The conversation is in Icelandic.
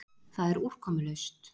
Það er úrkomulaust.